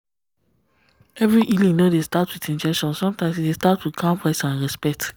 every healing no dey start with injection sometimes e start with calm voice and respect.